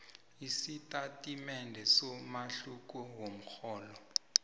isitatimende somahluko womrholo